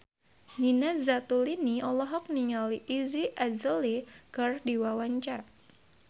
Nina Zatulini olohok ningali Iggy Azalea keur diwawancara